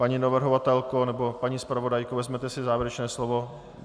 Paní navrhovatelko nebo paní zpravodajko, vezmete si závěrečné slovo?